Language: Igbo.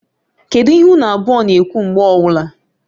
Kedu ihe unu abụọ na-ekwu mgbe ọwụla?